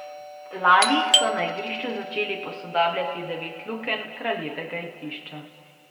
Lani so na igrišču začeli posodabljati devet lukenj Kraljevega igrišča.